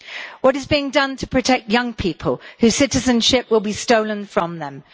What is being done to protect young people whose citizenship will be stolen from them?